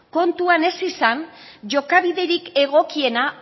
kontuan ez izan jokabiderik egokiena